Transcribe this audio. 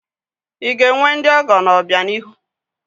I ga-enwe ndị ọgọ n'obianihu?